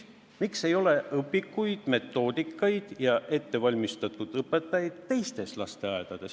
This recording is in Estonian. Miks ei ole õpikuid, metoodikat ja ettevalmistatud õpetajaid teistes lasteaedades?